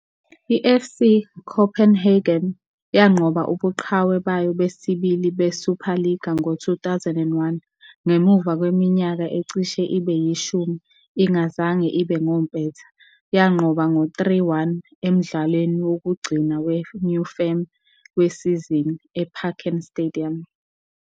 I-FC Copenhagen yanqoba ubuqhawe bayo besibili beSuperliga ngo-2001 ngemuva kweminyaka ecishe ibe yishumi ingazange ibe ngompetha, yanqoba ngo 3-1 emdlalweni wokugcina weNew Firm wesizini, eParken Stadium.